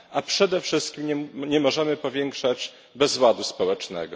A przede wszystkim nie możemy powiększać bezładu społecznego.